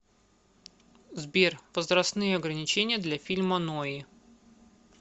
сбер возрастные ограничения для фильма нои